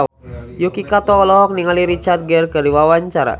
Yuki Kato olohok ningali Richard Gere keur diwawancara